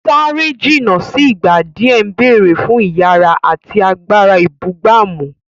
Sáré jìnnà sí ìgbà díẹ̀ ń béèrè fún ìyára àti agbára ìbúgbàmù.